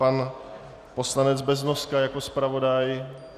Pan poslanec Beznoska jako zpravodaj?